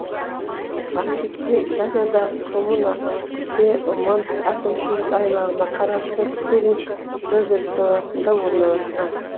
банкетте италиядағы коммуна пьемонт әкімшілік аймағына қарасты турин провинциясында орналасқан